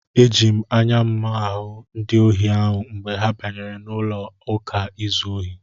Eji m anya m hụ ndị ohi ahụ mgbe ha banyere n'ụlọụka izu ohi.